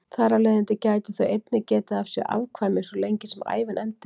Þar af leiðandi gætu þau einnig getið af sér afkvæmi svo lengi sem ævin entist.